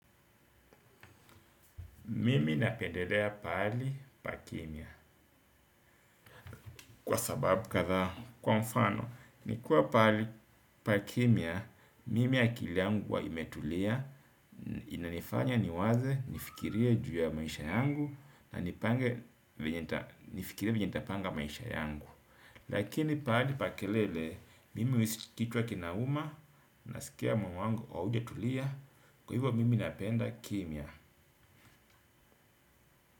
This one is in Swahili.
Mimi napendelea pahali pa kimya kwa sababu kathaa kwa mfano nikuwa pahali pa kimya mimi akili yangu uwa imetulia inanifanya niwaze nifikirie juu ya maisha yangu na nifikirie venye ntapanga maisha yangu. Lakini pahali pa kelele mimi uisi kichwa kinauma nasikia moyo wangu aujetulia kwa hivyo mimi napenda kimya.